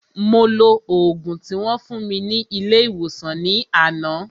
Mo lo ògùn tí wón fún mi ní ilé ìwòsàn ní àná